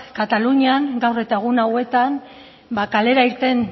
katalunian gaur eta egun hauetan ba kalera irten